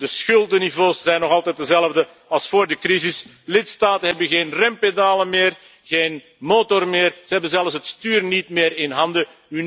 De schuldenniveaus zijn nog altijd dezelfde als voor de crisis. Lidstaten hebben geen rempedalen meer, geen motor meer, ze hebben zelfs het stuur niet meer in handen.